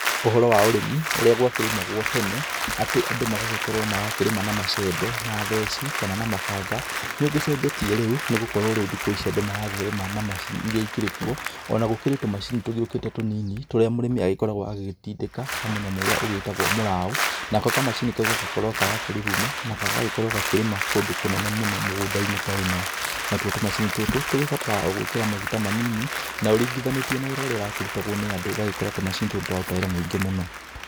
Ũhoro wa ũrĩmi ũrĩa gwakĩrĩmagwo tene, atĩ andũ magagĩkorwo marakĩrĩma na macembe, na theci, kana na mabanga. Nĩũgĩcenjetie rĩu, nĩgokorwo rĩu thikũ ici andũ marakĩrĩma na macini iria ikĩrĩ kuo. Ona gũkĩrĩ tumacini tũgĩũkĩte tũnini tũrĩa mũrĩmi agĩkoragwo agĩgĩtindĩka ta mũnyamũ ũrĩa ugĩtagwo mũraũ. Nako kamacini kau gagakorwo karakĩruruma na kagagĩkorwo gakĩrĩma kũndũ kũnene mũno mũgũnda-inĩ ta ĩno. Natuo tumacini tũtũ tũgĩbataraga o gwĩkĩra maguta manini, na ũringithaniĩtie na wĩra ũrĩa ũrakĩrutagwo nĩ andũ, ũgagĩkora tumacini tũtũ tũraruta wĩra mũingĩ mũno.